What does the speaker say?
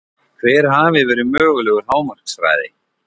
Hver hafi verið mögulegur hámarkshraði?